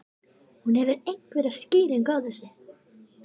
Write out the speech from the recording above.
Hefurðu einhverja skýringu á þessu?